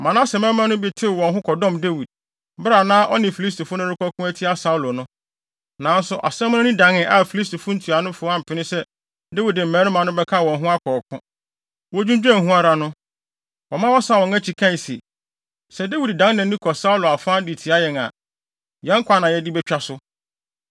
Manase mmarima no bi tew wɔn ho kɔdɔm Dawid, bere a na ɔne Filistifo no rekɔko atia Saulo no. Nanso asɛm no ani dan a Filistifo ntuanofo ampene so sɛ Dawid ne ne mmarima no bɛka wɔn ho akɔ. Wodwinnwen ho ara no, wɔma wɔsan wɔn akyi kae se, “Sɛ Dawid dan nʼani kɔ Saulo afa de tia yɛn a, yɛn nkwa na yɛde betwa so.”